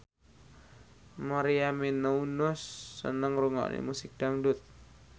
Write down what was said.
Maria Menounos seneng ngrungokne musik dangdut